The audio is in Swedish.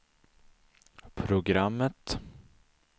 programmet